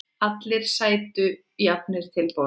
Allir sætu jafnir til borðs.